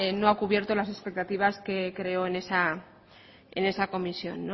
no ha cubierto las expectativas que creó en esa comisión